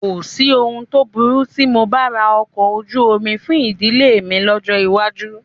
Kò sí ohun tó burú tí mo bá ra ọkọ̀ ojú omi fún ìdílé mi lọ́jọ́ iwájú